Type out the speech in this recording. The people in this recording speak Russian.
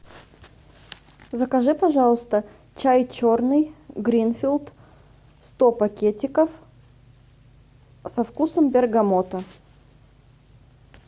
закажи пожалуйста чай черный гринфилд сто пакетиков со вкусом бергамота